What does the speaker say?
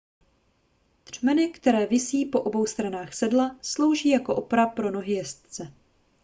třmeny které visí po obou stranách sedla slouží jako opora pro nohy jezdce